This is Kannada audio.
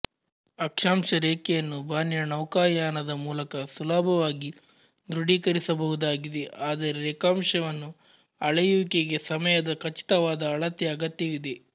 ಆಕ್ಷಾಂಶರೇಖೆಯನ್ನು ಬಾನಿನ ನೌಕಾಯಾನದ ಮೂಲಕ ಸುಲಭವಾಗಿ ದೃಢೀಕರಿಸಬಹುದಾಗಿದೆ ಆದರೆ ರೇಖಾಂಶವನ್ನು ಅಳೆಯುವಿಕೆಗೆ ಸಮಯದ ಖಚಿತವಾದ ಅಳತೆಯ ಅಗತ್ಯವಿದೆ